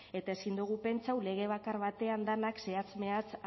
eta ezin dogu pentsau lege bakar batean denak zehatz mehatz